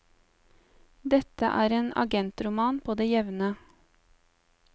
Dette er en agentroman på det jevne.